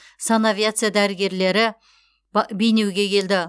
санавиация дәрігерлері бейнеуге келді